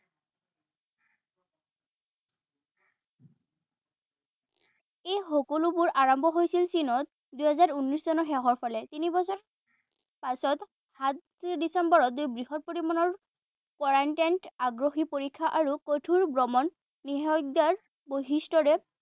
এই সকলোবোৰ আৰম্ভ হৈছিল চীনত দুহেজাৰ ঊনৈশ চনৰ শেষৰ ফালে। তিনি বছৰ পাছত সাত ডিচেম্বৰত দুই বৃহৎ পৰিমাণৰ quarantine আগ্ৰহী পৰীক্ষা আৰু কঠুৰ ভ্ৰমণ বৈশিষ্টৰে